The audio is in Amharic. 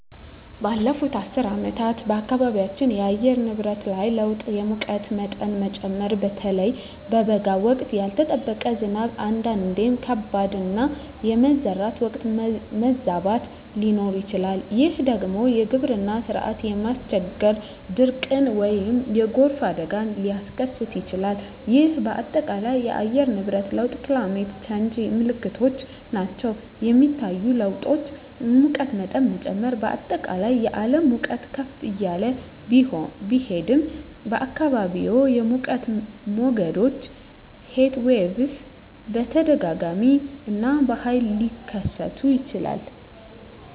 ባለፉት አስርት ዓመታት በአካባቢያችን የአየር ንብረት ላይ ለውጥ የሙቀት መጠን መጨመር (በተለይ በበጋ ወቅት)፣ ያልተጠበቀ ዝናብ (አንዳንዴም ከባድ)፣ እና የመዝራት ወቅት መዛባት ሊሆን ይችላል፤ ይህ ደግሞ የግብርና ሥራን በማስቸገር ድርቅን ወይም የጎርፍ አደጋን ሊያስከትል ይችላል፣ ይህም በአጠቃላይ የአየር ንብረት ለውጥ (Climate Change) ምልክቶች ናቸው. የሚታዩ ለውጦች: የሙቀት መጠን መጨመር: በአጠቃላይ የዓለም ሙቀት ከፍ እያለ ቢሄድም፣ በአካባቢዎም የሙቀት ሞገዶች (Heatwaves) በተደጋጋሚ እና በኃይል ሊከሰቱ ይችላሉ.